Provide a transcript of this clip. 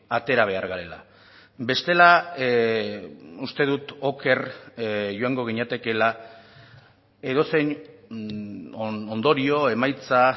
atera behar garela bestela uste dut oker joango ginatekeela edozein ondorio emaitza